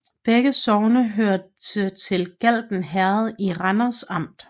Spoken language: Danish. Begge sogne hørte til Galten Herred i Randers Amt